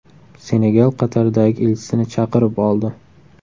Senegal Qatardagi elchisini chaqirib oldi.